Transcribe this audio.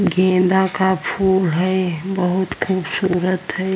गेंदा का फूल है बहुत खूबसूरत है।